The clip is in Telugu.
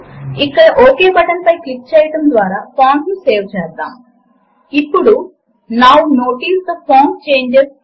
ఇప్పుడు ఫార్ములా ఎడిటర్ విండో ను గమనించండి అది టైమ్స్ అనే పదము చేత విడగొట్టబడిన రెండు ప్లేస్ హోల్డర్లను చూపిస్తుంది